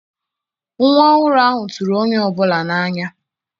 Nwa ọhụrụ ahụ tụrụ onye ọ bụla n'anya.